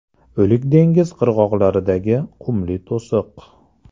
O‘lik dengiz qirg‘oqlaridagi qumli to‘siq.